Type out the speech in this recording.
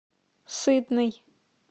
сытный